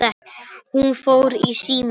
Hún fór í símann.